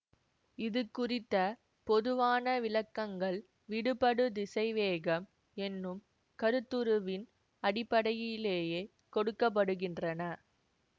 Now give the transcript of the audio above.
இது குறித்த பொதுவான விளக்கங்கள் விடுபடு திசைவேகம் என்னும் கருத்துருவின் அடிப்படையிலேயே கொடுக்க படுகின்றன